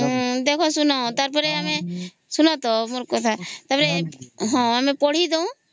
ଦେଖ ଶୂନ ତାର ପରେ ଶୂନ ତ ଆଗେ ମୋର କଥା ତ ପରେ ଆମେ ପଢି ଦଉ